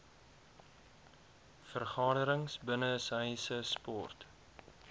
vergaderings binnenshuise sport